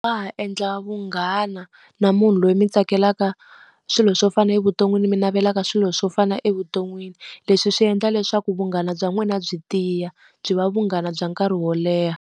endla vunghana na munhu loyi mi tsakelaka swilo swo fana na evuton'wini mi navelaka swilo swo fana na evuton'wini. Leswi swi endla leswaku vunghana bya n'wina byi tiya, byi va vunghana bya nkarhi wo leha.